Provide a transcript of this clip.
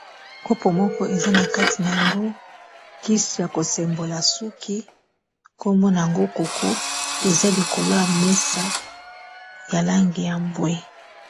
Kopo moko eza na kati na yango kisi ya kosembola suki kombo nango koko eza likolo ya mesa ya langi ya mbwe.